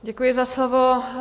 Děkuji za slovo.